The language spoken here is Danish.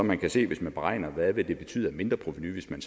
man kan se hvis man beregner hvad det ville betyde af mindre provenu hvis man